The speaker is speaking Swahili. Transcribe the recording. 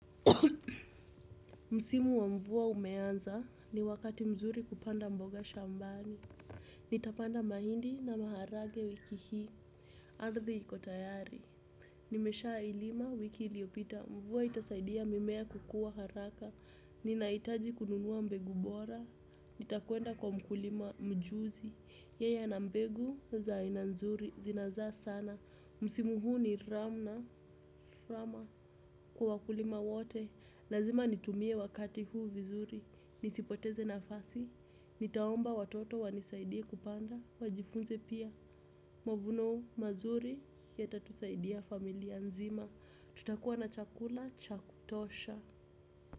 Msimu wa mvua umeanza ni wakati mzuri kupanda mboga shambani. Nitapanda mahindi na maharagwe wiki hii. Ardhi iko tayari. Nimeshailima wiki liopita. Mvua itasaidia mimea kukua haraka. Ninahitaji kununua mbegu bora. Nitakwenda kwa mkulima mjuzi. Yeye ana mbegu za aina nzuri zinazaa sana. Msimu huu ni ramna. Kwa wakulima wote lazima nitumie wakati huu vizuri, nisipoteze nafasi, nitaomba watoto wanisaidie kupanda, wajifunze pia. Mavuno mazuri yatatusaidia familia nzima. Tutakua na chakula cha kutosha.